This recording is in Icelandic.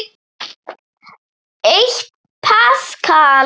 Eitt paskal